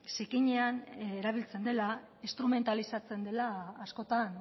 zikinean erabiltzen dela instrumentalizatzen dela askotan